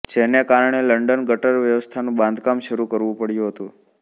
જેને કારણેલંડન ગટર વ્યવસ્થાનું બાંધકામ શરૂ કરવું પડ્યું હતું